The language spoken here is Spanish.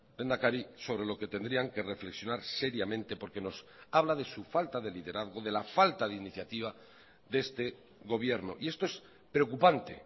lehendakari sobre lo que tendrían que reflexionar seriamente porque nos habla de su falta de liderazgo de la falta de iniciativa de este gobierno y esto es preocupante